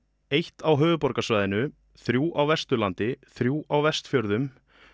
eitt á höfuðborgarsvæðinu þrjú á Vesturlandi þrjú á Vestfjörðum